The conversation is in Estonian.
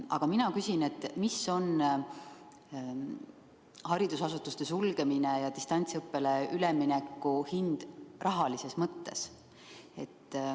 Aga mina küsin, mis on haridusasutuste sulgemise ja distantsõppele ülemineku hind rahalises mõttes.